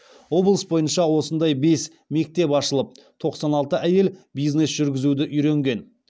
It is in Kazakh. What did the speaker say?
облыс бойынша осындай бес мектеп ашылып тоқсан алты әйел бизнес жүргізуді үйренген